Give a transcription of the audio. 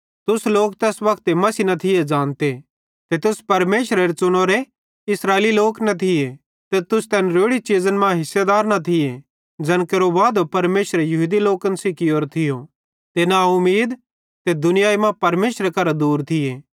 तुस लोक तैस वक्ते मसीह न थिये ज़ानते ते तुस परमेशरेरे च़ुनोरे इस्राएली लोक न थिये ते तुस तैन रोड़ी चीज़न मां हिस्सेदार न थिये ज़ैन केरो वादो परमेशरे यहूदी लोकन सेइं कियोरो थियो ते ना उमीद ते दुनियाई मां परमेशरे करां दूर थिये